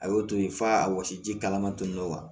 A y'o to ye f'a wɔsi ji kalaman tonyɔrɔ la